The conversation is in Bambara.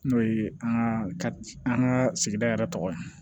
N'o ye an ka an ka sigida yɛrɛ tɔgɔ ye